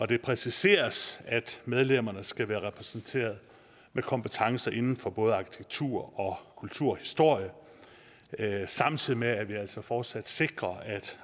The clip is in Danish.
det præciseres at medlemmerne skal repræsentere kompetencer inden for både arkitektur og kulturhistorie samtidig med at det altså fortsat sikres at